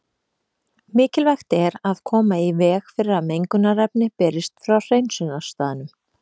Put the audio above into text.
Mikilvægt er að koma í veg fyrir að mengunarefni berist frá hreinsunarstaðnum.